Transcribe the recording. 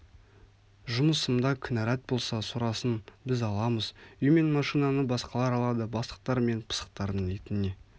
жұмысымда кінәрат болса сұрасын біз аламыз үй мен машинаны басқалар алады бастықтар мен пысықтардың итіне